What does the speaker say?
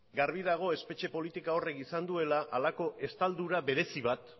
garbi dago espetxe politika horrek izan duela halako estaldura berezi bat